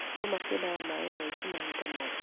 Nduma ciendaga maaĩ mahinda mothe.